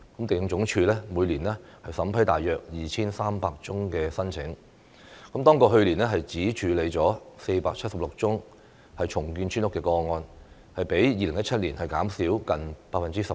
地政總署每年審批大約 2,300 宗申請，當局去年只處理了476宗重建村屋的個案，較2017年減少近 18%。